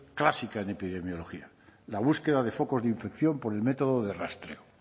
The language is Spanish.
clásica en epidemiología la búsqueda de focos de infección por el método de rastreo